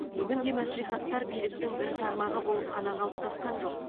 бүгінде мәслихаттар биліктің бір тармағы болып қана қалыптасқан жоқ